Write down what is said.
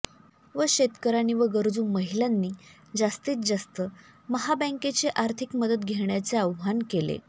व शेतकयांनी व गरजू महिलांनी जास्तीत जास्त महाबँकेची आर्थिक मदत घेण्याचे आव्हान केले